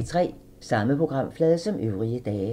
Samme programflade som øvrige dage